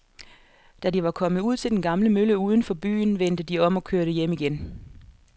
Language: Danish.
Da de var kommet ud til den gamle mølle uden for byen, vendte de om og kørte hjem igen.